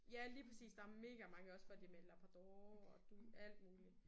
Ja lige præcis der er megamange også hvor det er med labrador og alt muligt